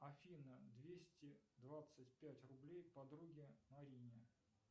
афина двести двадцать пять рублей подруге марине